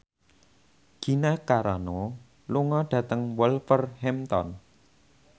Gina Carano lunga dhateng Wolverhampton